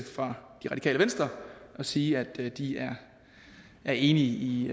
fra det radikale venstre og sige at de er enige i